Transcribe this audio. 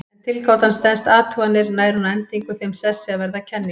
Ef tilgátan stenst athuganir nær hún að endingu þeim sessi að verða að kenningu.